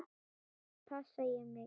Passa ég mig?